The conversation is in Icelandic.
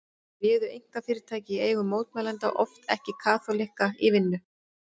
Þá réðu einkafyrirtæki í eigu mótmælenda oft ekki kaþólikka í vinnu.